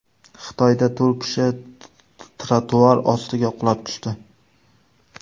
Xitoyda to‘rt kishi trotuar ostiga qulab tushdi.